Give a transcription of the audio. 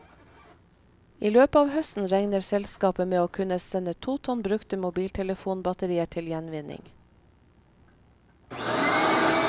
I løpet av høsten regner selskapet med å kunne sende to tonn brukte mobiltelefonbatterier til gjenvinning.